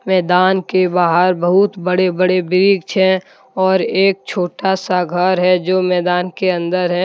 मैदान के बाहर बहुत बड़े बड़े वृक्ष हैं और एक छोटा सा घर है जो मैदान के अंदर है।